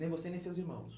Nem você nem seus irmãos.